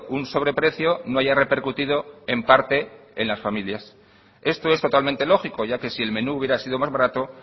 un sobreprecio no haya repercutido en parte en las familias esto es totalmente lógico ya que si el menú hubiera sido más barato